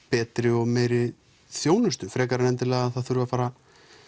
betri og meiri þjónustu frekar en endilega að það þurfi að fara